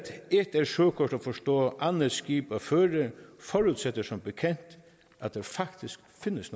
et er søkort at forstå andet skib at føre forudsætter som bekendt at der faktisk findes